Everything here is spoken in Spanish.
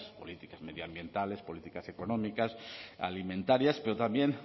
políticas medioambientales políticas económicas alimentarias pero también